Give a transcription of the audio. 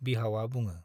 बिहावा बुङो।